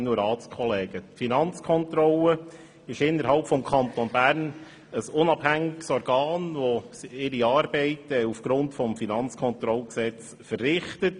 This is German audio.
Die Finanzkontrolle ist innerhalb des Kantons ein unabhängiges Organ, das seine Arbeit aufgrund des Kantonalen Finanzkontrollgesetzes verrichtet.